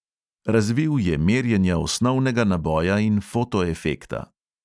Razvil je merjenja osnovnega naboja in fotoefekta.